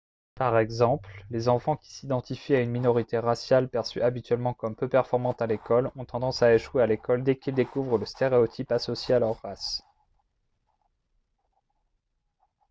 par exemple les enfants qui s'identifient à une minorité raciale perçue habituellement comme peu performante à l'école ont tendance à échouer à l'école dès qu'ils découvrent le stéréotype associé à leur race